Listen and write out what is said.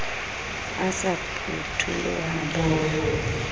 e sa phutoloha ba na